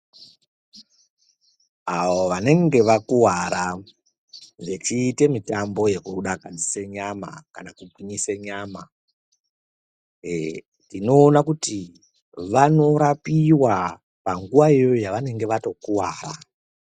Avo vanenge vakuwara veichiite mitambo yekudakadzise nyama kana kugwinyise nyama eee tinoona kuti vanorapiwa panguwa iyoyo yavatokuwara.